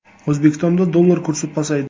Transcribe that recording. O‘zbekistonda dollar kursi pasaydi.